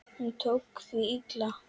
Hún tók því illa.